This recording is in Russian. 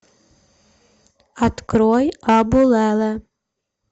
открой абу лала